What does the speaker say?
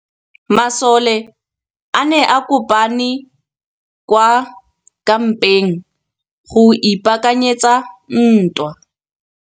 Masole a ne a kopane kwa kampeng go ipaakanyetsa ntwa.